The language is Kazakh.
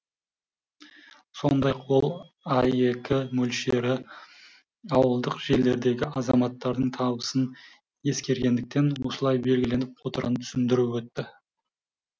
сондай ақ ол аек мөлшері ауылдық жерлердегі азаматтардың табысын ескергендіктен осылай белгіленіп отырғанын түсіндіріп өтті